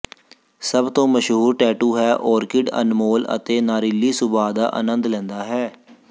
ਸਭ ਤੋਂ ਮਸ਼ਹੂਰ ਟੈਟੂ ਹੈ ਓਰਕਿਡ ਅਨਮੋਲ ਅਤੇ ਨਾਰੀਲੀ ਸੁਭਾਅ ਦਾ ਅਨੰਦ ਲੈਂਦਾ ਹੈ